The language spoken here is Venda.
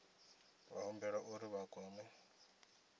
vha humbelwa uri vha kwame